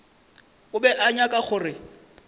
o be a nyaka gore